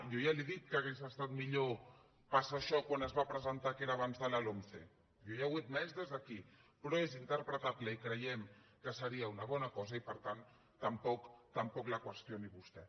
jo ja li he dit que hauria estat millor passar això quan es va presentar que era abans de la lomce jo ja ho he admès des d’aquí però és interpretable i creiem que seria una bona cosa i per tant tampoc la qüestioni vostè